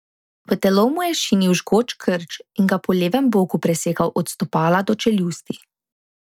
V telo mu je šinil žgoč krč in ga po levem boku presekal od stopala do čeljusti.